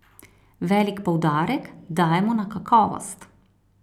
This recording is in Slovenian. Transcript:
Velik poudarek dajemo na kakovost.